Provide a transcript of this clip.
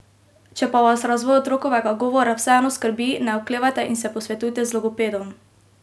Če pa vas razvoj otrokovega govora vseeno skrbi, ne oklevajte in se posvetujte z logopedom.